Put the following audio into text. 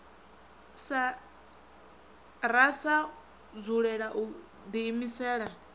ra sa dzulela u diimisela